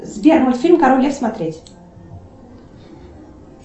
сбер мультфильм король лев смотреть